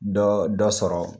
Dɔ dɔ sɔrɔ.